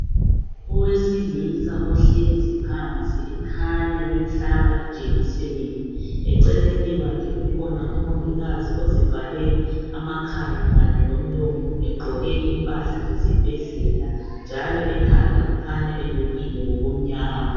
Owesilisa uhlezi phansi ekhanya bemhlaba ijekiseni. Eceleni kwakhe kukhona umongikazi ozivale amakhala kanye lomlomo egqoke impahla zesibhedlela njalo ekhanda ukhanya elukile ngokumnyama